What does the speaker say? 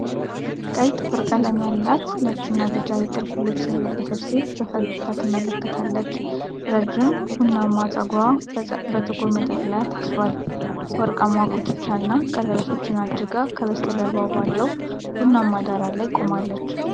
ቀይ ጥፍር ቀለም ያላት፣ ነጭና ቢጫ የጥልፍ ልብስ የለበሰች ሴት፣ በፈገግታ ትመለከታለች። ረዥም ቡናማ ጸጉርዋ በጥቁር መጠቅለያ ታስሯል፤ ወርቃማ ጉትቻና ቀለበቶች አድርጋ፣ ከበስተጀርባ ባለው ቡናማ ዳራ ላይ ቆማለች።